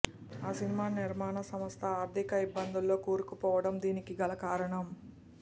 ఆ సినిమా నిర్మాణ సంస్థ ఆర్ధిక ఇబ్బందుల్లో కూరుకుపోవడం దీనికి గల కారణం